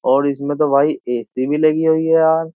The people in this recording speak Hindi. और इसमें तो भाई एसी भी लगी हुई है यार।